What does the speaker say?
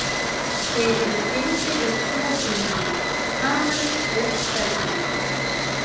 Þeir eru tengdir við hljóðhimnuna, hamarinn og steðjann.